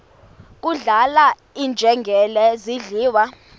kudlala iinjengele zidliwa